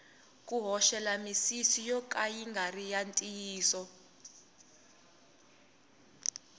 ku hoxela misisi yo ka ya ngari ya ntiyiso